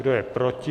Kdo je proti?